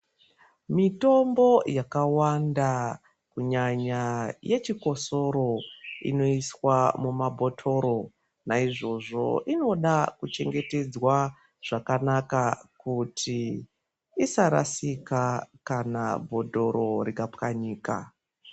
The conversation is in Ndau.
Mitombo yakawanda kunyanya yechikosoro inoiswa mumabhotoro naizvozvo inoda kuchengetedzwa zvakanaka kuti isarasika kana bhodhoro rikapwanyika.